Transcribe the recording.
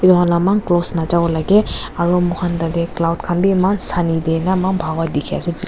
Laman cross najabo laga aru mur khan tarte cloud khan eman sunny te eman bhagoi dekhi ase.